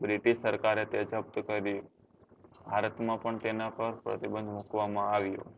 british સરકારે તે જપ્ત કર્યું ભારત માપન તેના પર પ્રતિબંધ મુકવા માં આવ્યો